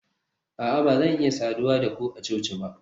a'a ba zan iya saduwa da ku a coci ba